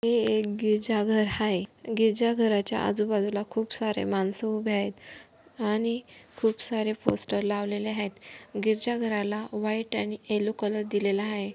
हे एक गिरजाघर आहे. गिरजाघराच्या आजू बाजूला खूप सारे माणसं उभे आहेत आणि खूप सारे पोस्टर लावलेले आहेत. गिरजाघराला घराला व्हाइट आणि येल्लो कलर दिलेला आहे.